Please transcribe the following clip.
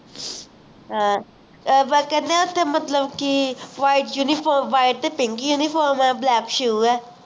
ਆਹ ਮਤਲਬ ਕਿ white uniform white pink uniform ਹੈ black shoe ਹੈ